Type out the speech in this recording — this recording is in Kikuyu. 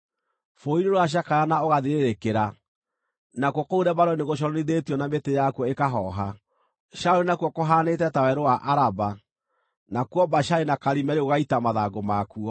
Bũrũri nĩũracakaya na ũgathirĩrĩkĩra, nakuo kũu Lebanoni nĩgũconorithĩtio na mĩtĩ yakuo ĩkahooha. Sharoni nakuo kũhanĩte ta werũ wa Araba, nakuo Bashani na Karimeli gũgaita mathangũ makuo.